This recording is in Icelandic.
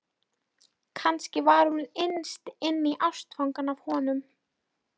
Kannski var hún innst inni ástfangin af honum.